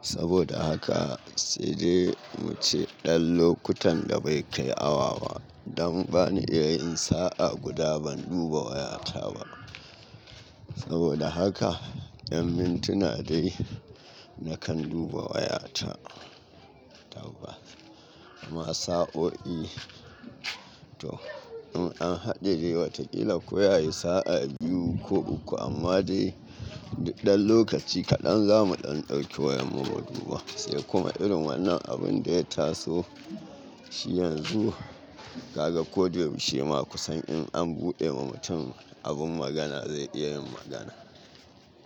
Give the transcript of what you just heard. Saboda haka sai dai mu ce ɗan lokutan da bai kai awa ba. Dan bani iya yin sa'a guda ban duba wayata ba. Saboda haka 'yan mintuna dai na kan duba wayata. Amma sa'o'i to in an haɗe wataƙila ko ya yi sa'a biyu ko uku amma dai duk ɗan lokaci kaɗan zamu ɗan ɗauki wayarmu mu duba. Sai kuma irin wannan abun da ya taso shi yanzu ka ga ko da yaushe ma kusan in an buɗe ma mutum abun magana zai iya yin magana.